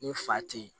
Ni fa te ye